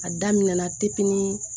A daminɛ na depi ni